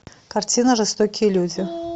картина жестокие люди